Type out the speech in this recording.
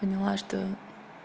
поняла что